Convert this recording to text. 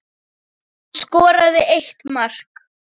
Hann skoraði eitt mark.